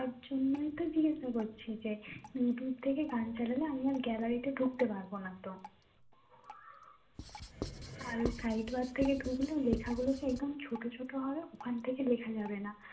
ওটার জন্যই তো জিজ্ঞাসা করছি যে youtube থেকে গান চলা যে আমি আর gallary তে ঢুকতে পারবো না তো আর side bar থেকে ঢুকলে ওখান থেকে লেখা গুলো ছোট ছোট হবে ওখান থেকে লেখা যাবেনা